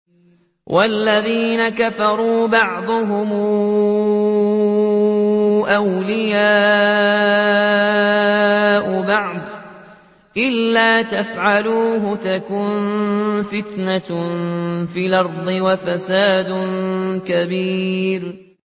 وَالَّذِينَ كَفَرُوا بَعْضُهُمْ أَوْلِيَاءُ بَعْضٍ ۚ إِلَّا تَفْعَلُوهُ تَكُن فِتْنَةٌ فِي الْأَرْضِ وَفَسَادٌ كَبِيرٌ